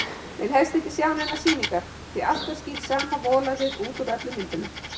Vil helst ekki sjá neinar sýningar, því alltaf skín sama volæðið út úr öllum myndunum.